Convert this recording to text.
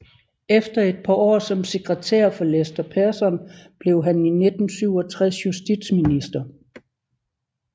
Efter et par år som sekretær for Lester Pearson blev han i 1967 justitsminister